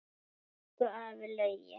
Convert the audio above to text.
Elsku afi Laugi.